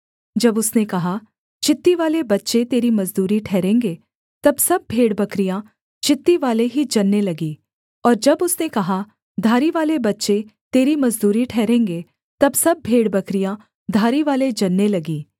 जब उसने कहा चित्तीवाले बच्चे तेरी मजदूरी ठहरेंगे तब सब भेड़बकरियाँ चित्तीवाले ही जनने लगीं और जब उसने कहा धारीवाले बच्चे तेरी मजदूरी ठहरेंगे तब सब भेड़बकरियाँ धारीवाले जनने लगीं